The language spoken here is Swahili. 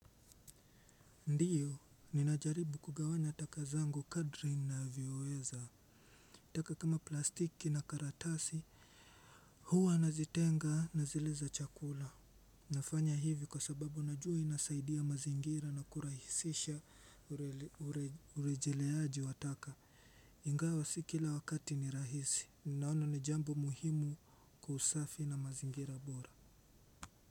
Ndiyo, ninajaribu kugawanya takazangu kadri navyoweza. Taka kama plastiki na karatasi. Huwa nazitenga na zile za chakula. Nafanya hivi kwa sababu najua inasaidia mazingira na kurahisisha urejeleaji wa taka. Ingawa si kila wakati ni rahisi. Ninaona ni jambo muhimu kwas usafi na mazingira bora.